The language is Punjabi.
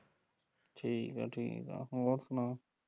ਠੀਕ ਐ ਠੀਕ ਐ ਹੋਰ ਸੁਣਾ